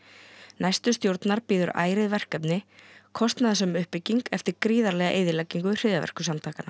næstu stjórnar bíður ærið verkefni kostnaðarsöm uppbygging eftir gríðarlega eyðileggingu hryðjuverkasamtakanna